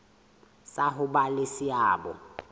sa ho ba le seabo